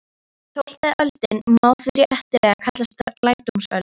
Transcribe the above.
Tólfta öldin má því réttilega kallast lærdómsöld.